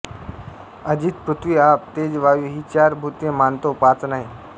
अजित पृथ्वी आप तेज वायु ही चार भूते मानतो पाच नाही